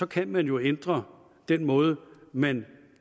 kan man jo ændre den måde man